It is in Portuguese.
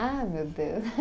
Ah, meu Deus.